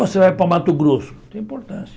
Você vai para Mato Grosso, tem importância.